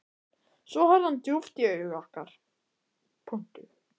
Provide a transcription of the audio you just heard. Svo horfði hann djúpt í augu okkar.